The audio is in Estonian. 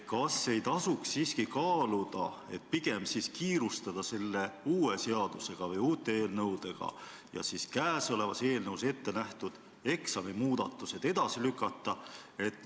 Kas ei tasuks siiski pigem kiirustada selle uue seaduseelnõuga või uute eelnõudega ja käesolevas eelnõus pakutud eksamimuudatused edasi lükata?